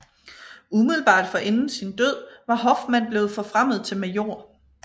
Umiddelbart forinden sin død var Hoffmann blevet forfremmet til major